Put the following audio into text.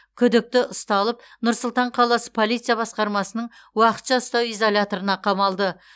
күдікті ұсталып нұр сұлтан қаласы полиция басқармасының уақытша ұстау изоляторына қамалды